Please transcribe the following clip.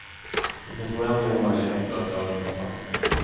Det finns oändliga möjligheter att göra misstag.